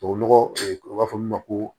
Tubabu nɔgɔ o b'a fɔ min ma ko